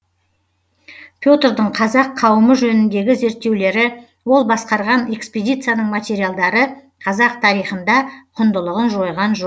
петрдің қазақ қауымы жөніндегі зерттеулері ол басқарған экспедицияның материалдары қазақ тарихында құндылығын жойған жоқ